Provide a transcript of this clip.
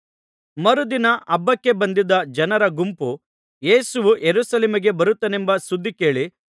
ಮರುದಿನ ಹಬ್ಬಕ್ಕೆ ಬಂದಿದ್ದ ಜನರ ಗುಂಪು ಯೇಸು ಯೆರೂಸಲೇಮಿಗೆ ಬರುತ್ತಾನೆಂಬ ಸುದ್ದಿ ಕೇಳಿ